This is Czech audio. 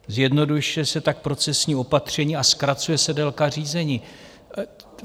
Zjednodušuje se tak procesní opatření a zkracuje se délka řízení.